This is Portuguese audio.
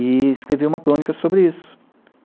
E escrevi uma crônica sobre isso.